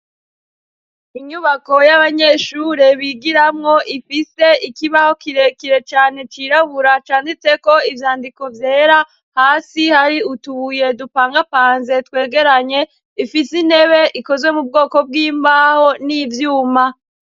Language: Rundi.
Inyubako y'abanyeshure bigiramwo ifise ikibaho kirekire cane cirabura canditseko ivyandiko vyera. Hasi har'utubuye dupangapanze twegeranye, ifise intebe ikozwe m'ubwoko bw'imbaho n'ivyuma.